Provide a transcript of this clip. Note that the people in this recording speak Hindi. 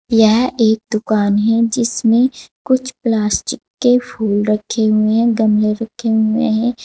यह एक दुकान है जिसमे कुछ प्लास्टिक के फूल रखे हुए हैं गमले रखे हुए हैं।